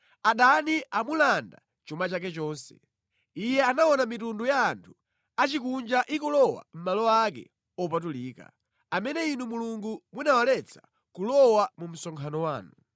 Adani amulanda chuma chake chonse; iye anaona mitundu ya anthu achikunja ikulowa mʼmalo ake opatulika, amene Inu Mulungu munawaletsa kulowa mu msonkhano wanu.